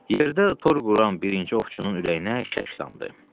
Yerdə tor quran birinci ovçunun ürəyinə şəkk damdı.